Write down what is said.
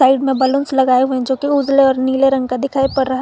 Side में balloons लगाए हुए जो कि उजले और नीले रंग का दिखाई पड़ रहा है।